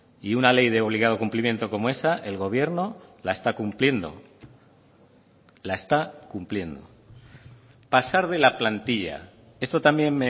y una ley de obligado cumplimiento como esa el gobierno la está cumpliendo la está cumpliendo pasar de la plantilla esto también